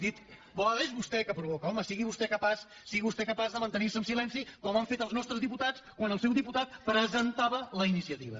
boada és vostè que provoca home sigui vostès de capaç de mantenir se en silenci com han fet els nostres diputats quan el seu diputat presentava la iniciativa